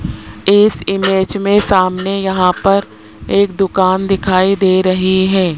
इस इमेज में सामने यहां पर एक दुकान दिखाई दे रही है।